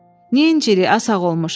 Niyə incirik a sağolmuş?